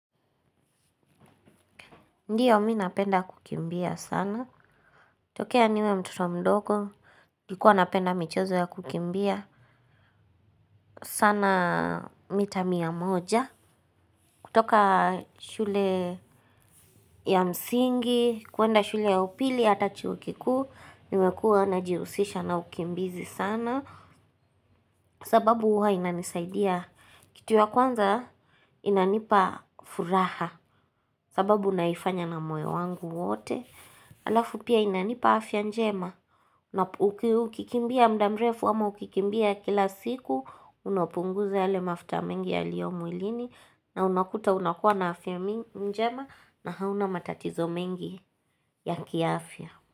Ndiyo mimi napenda kukimbia sana. Tokea niwe mtoto mdogo. Nilkuwa napenda michezo ya kukimbia sana mita mia moja. Kutoka shule ya msingi, kwenda shule ya upili, hata chuo kikuu. Nimekuwa najihusisha na ukimbizi sana. Sababu huwa inanisaidia. Kitu ya kwanza inanipa furaha. Sababu naifanya na moyo wangu wote. Halafu pia inanipa afya njema. Ukikimbia muda mrefu ama ukikimbia kila siku, unapunguza yale mafuta mengi yaliyo mwilini na unakuta unakuwa na afya njema na hauna matatizo mengi ya kiafya.